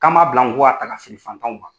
K'an b'a bila an kun ko k'a ta ka feere fantanw ma.